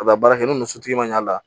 A bɛ baara kɛ ni muso ma ɲ'a la